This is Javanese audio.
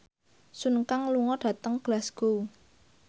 Sun Kang lunga dhateng Glasgow